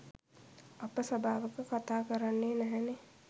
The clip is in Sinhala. අප සභාවක කතා කරන්නේ නැහැනේ